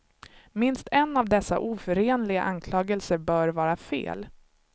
Minst en av dessa oförenliga anklagelser bör vara fel.